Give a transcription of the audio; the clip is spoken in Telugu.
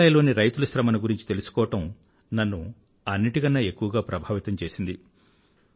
మేఘాలయ లోని రైతుల శ్రమను గురించి తెలుసుకోవడం నన్ను అన్నింటికన్నా ఎక్కువగా ప్రభావితం చేసింది